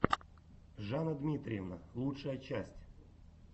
жанна дмитриевна лучшая часть